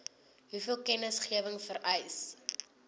hoeveel kennisgewing vereis